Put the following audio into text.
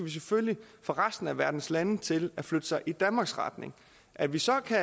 vi selvfølgelig få resten af verdens lande til at flytte sig i danmarks retning at vi så kan